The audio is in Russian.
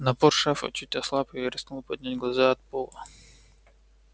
напор шефа чуть ослаб и я рискнул поднять глаза от пола